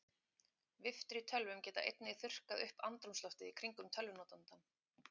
Viftur í tölvum geta einnig þurrkað upp andrúmsloftið í kringum tölvunotandann.